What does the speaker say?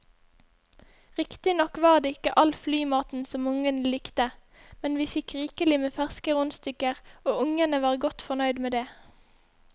Riktignok var det ikke all flymaten som ungene likte, men vi fikk rikelig med ferske rundstykker og ungene var godt fornøyd med det.